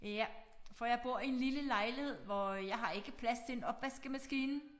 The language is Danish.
Ja for jeg bor i en lille lejlighed hvor jeg har ikke plads til en opvaskemaskine